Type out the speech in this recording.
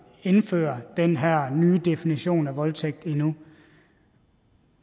indføre den her nye definition af voldtægt endnu